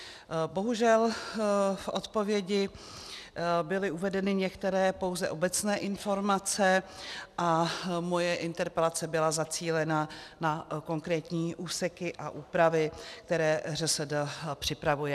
Bohužel v odpovědi byly uvedeny některé pouze obecné informace a moje interpelace byla zacílena na konkrétní úseky a úpravy, které ŘSD připravuje.